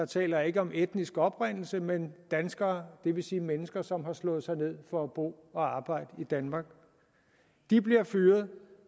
taler jeg ikke om etnisk oprindelse men danskere det vil sige mennesker som har slået sig ned for at bo og arbejde i danmark de bliver fyret